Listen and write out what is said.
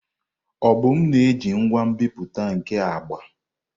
Obum na-eji ngwa nbipute nke agba.